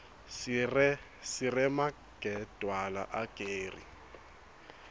siremagedwla ageri